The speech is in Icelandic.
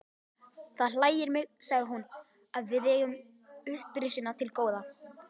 Það hlægir mig, sagði hún,-að við eigum upprisuna til góða.